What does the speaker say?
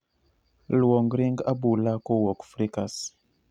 Luong ring abula kowuok frikas